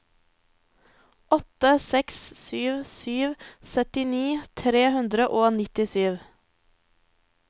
åtte seks sju sju syttini tre hundre og nittisju